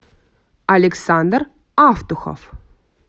александр автухов